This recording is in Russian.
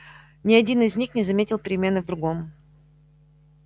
ни один из них не заметил перемены в другом